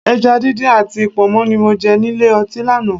Ẹja díndín àti Pọ̀nmọ́ ni mo jẹ nílé ọtí lánàá